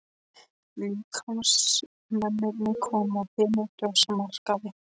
Listamennirnir koma af hinum frjálsa markaði.